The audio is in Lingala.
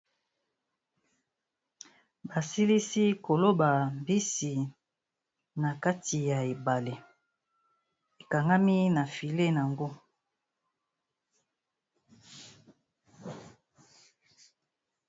Ba silisi koloba mbisi na kati ya ebale, ekangami na filet nango.